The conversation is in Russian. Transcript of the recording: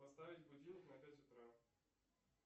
поставить будильник на пять утра